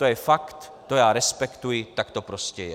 To je fakt, to já respektuji, tak to prostě je.